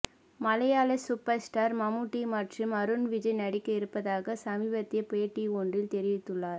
மலையாள super star Mammootty மற்றும் அருண் விஜய் நடிக்க இருப்பதாக சமீபத்திய பேட்டி ஒன்றில் தெரிவித்துள்ளார்